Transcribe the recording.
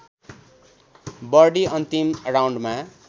birdie अन्तिम राउन्डमा